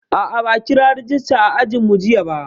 A'a, ba a kira rejista a ajinmu jiya ba.